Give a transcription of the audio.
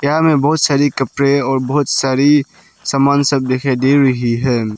यहां मे बहुत सारी कपड़े और बहुत सारी सामान सब दिखाई दे रही है।